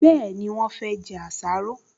Bẹ́ẹ̀ni, wọ́n fẹ́ jẹ àsáró